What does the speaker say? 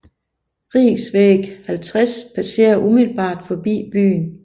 Riksväg 50 passerer umiddelbart forbi byen